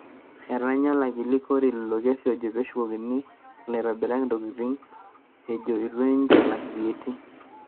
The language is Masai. Etanya olakili Korir ilo kesi ojo peshukokini ilaitobirak intokitini ejo itu ninche elak VAT